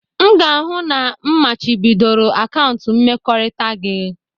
M ga-ahụ na m machibidoro akaụntụ mmekọrịta gị